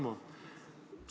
Hea Tarmo!